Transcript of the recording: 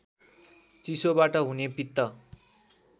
चिसोबाट हुने पित्त